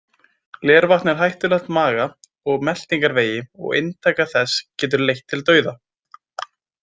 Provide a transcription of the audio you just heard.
Glervatn er hættulegt maga og meltingarvegi og inntaka þess getur leitt til dauða.